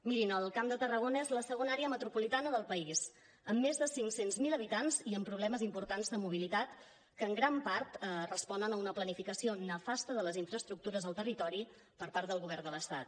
mirin el camp de tarragona és la segona àrea metropolitana del país amb més de cinc cents miler habitants i amb problemes importants de mobilitat que en gran part responen a una planificació nefasta de les infraestructures al territori per part del govern de l’estat